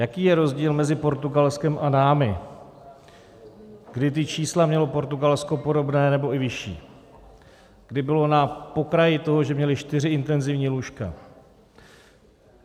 Jaký je rozdíl mezi Portugalskem a námi, kdy ta čísla mělo Portugalsko podobná, nebo i vyšší, kdy bylo na pokraji toho, že měli čtyři intenzivní lůžka?